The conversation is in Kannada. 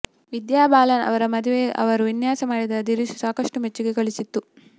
ವಿದ್ಯಾ ಬಾಲನ್ ಅವರ ಮದುವೆಗೆ ಇವರು ವಿನ್ಯಾಸ ಮಾಡಿದ ದಿರಿಸು ಸಾಕಷ್ಟು ಮೆಚ್ಚುಗೆ ಗಳಿಸಿತ್ತು